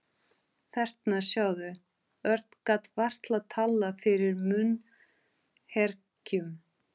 Þarna, sjáðu. Örn gat varla talað fyrir munnherkjum.